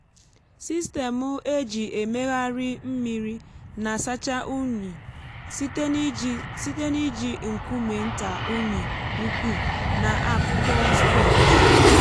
sistemụ eji emegharị mmiri na-asacha unyi um site n’iji site n’iji nkume nta unyi ukwu na akpụkpọ sponge.